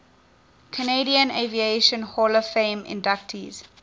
canadian aviation hall of fame inductees